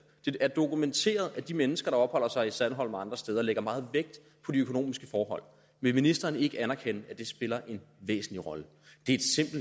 det er dokumenteret at de mennesker der opholder sig i sandholm og andre steder lægger meget vægt på de økonomiske forhold vil ministeren ikke anerkende at det spiller en væsentlig rolle